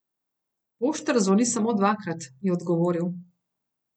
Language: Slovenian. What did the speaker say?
Poštar zvoni samo dvakrat, je odgovoril.